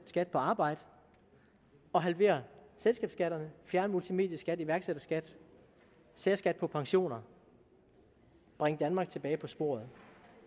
skat på arbejde og halvere selskabsskatterne fjerne multimedieskat iværksætterskat særskat på pensioner og bringe danmark tilbage på sporet